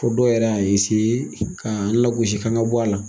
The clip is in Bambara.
Fɔ dɔw yɛrɛ y'a ka an lagosi k'an ga bɔ a la.